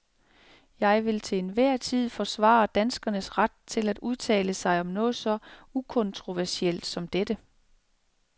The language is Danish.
Jeg vil til enhver tid forsvare danskernes ret til at udtale sig om noget så ukontroversielt som dette.